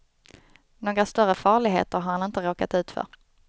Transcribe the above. Några större farligheter har han inte råkat ut för.